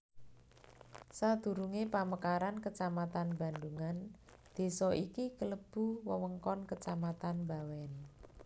Sadurungé pamekaran kecamatan Bandhungan désa iki klebu wewengkon kecamatan Bawèn